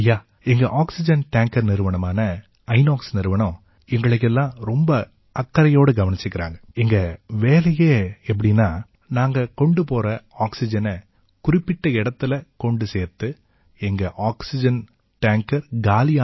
ஐயா எங்க வேலையே எப்படீன்னா நாங்க கொண்டு போகற ஆக்சிஜனை குறிப்பிட்ட இடத்தில கொண்டு சேர்த்து எங்க டேங்கர் காலியான பிறகு ஒரு அலாதியான சந்தோஷமா இருக்குங்கய்யா